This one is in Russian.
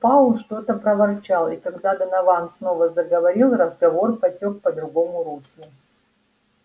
пауэлл что-то проворчал и когда донован снова заговорил разговор потёк по другому руслу